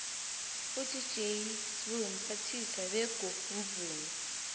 udj sbu mphathimvezi bego mvumi